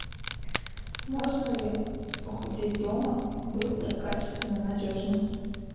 можно ли похудеть дома быстро качественно надежно